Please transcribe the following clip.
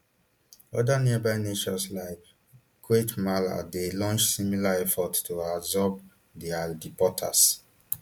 oda nearby nations like guatemala dey launch similar efforts to absorb dia deportees